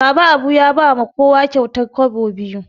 Baba Abu ya ba ma kowa kyautar kwabo biyu